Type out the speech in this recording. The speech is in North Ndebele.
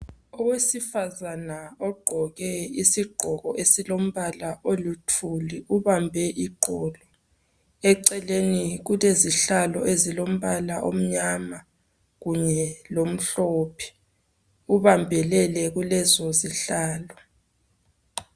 Owesifazana ogqoke isigqoko esilombala oluthuli, ubambe iqolo. Eceleni kulezihlalo ezilombala omnyama kunye lomhlophe. Ubambelele kulezo zihlalo.